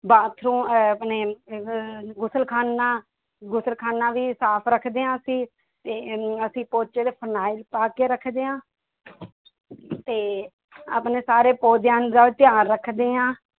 bathroom~ ਅਹ ਆਪਣੇ ਅਹ ਗੁਸਲਖਾਨਾ ਗੁਸਲਖਾਨਾ ਵੀ ਸਾਫ਼ ਰੱਖਦੇ ਹਾਂ ਅਸੀਂ ਤੇ ਅਸੀਂ ਪੋਚੇ ਤੇ ਫਰਨਾਇਲ ਪਾ ਕੇ ਰੱਖਦੇ ਹਾਂ ਤੇ ਆਪਣੇ ਸਾਰੇੇ ਪੌਦਿਆਂ ਦਾ ਧਿਆਨ ਰੱਖਦੇ ਹਾਂ